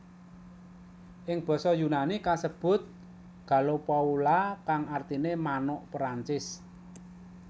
Ing basa Yunani kasebut gallopoula kang artiné manuk Perancis